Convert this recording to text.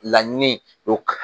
Laɲini o